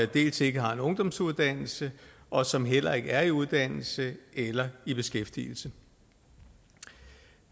dels ikke har en ungdomsuddannelse og som heller ikke er i uddannelse eller i beskæftigelse